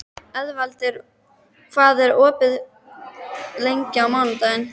Eðvald, hvað er opið lengi á mánudaginn?